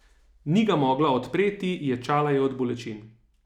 Ni ga mogla odpreti, ječala je od bolečin.